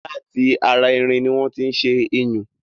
Láti ara irin ni wọ́n tí ṣé iyùn